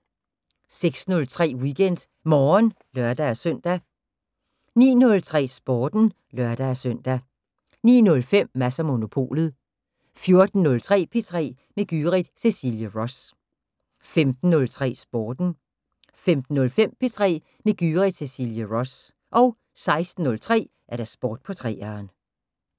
06:03: WeekendMorgen (lør-søn) 09:03: Sporten (lør-søn) 09:05: Mads & Monopolet 14:03: P3 med Gyrith Cecilie Ross 15:03: Sporten 15:05: P3 med Gyrith Cecilie Ross 16:03: Sport på 3'eren